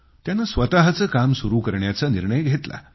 त्यानं स्वतःचं काम सुरू करण्याचा निर्णय घेतला